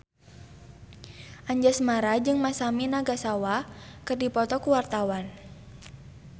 Anjasmara jeung Masami Nagasawa keur dipoto ku wartawan